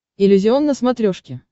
иллюзион на смотрешке